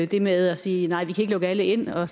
det med at sige at vi ikke kan lukke alle ind og